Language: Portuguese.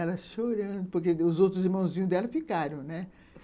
Ela chorando, porque os outros irmãozinhos dela ficaram, né?